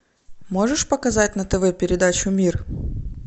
можешь показать на тв передачу мир